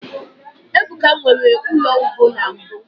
ebuka nwere ulo ugbo na mbu